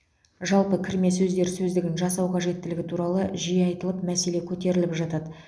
жалпы кірме сөздер сөздігін жасау қажеттілігі туралы жиі айтылып мәселе көтеріліп жатады